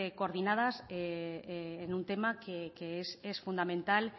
coordinadas en un tema que es fundamental